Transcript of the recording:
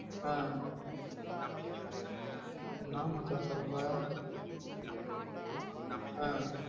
ஆஹ் என்ன மச்சா சொல்ற ஆஹ்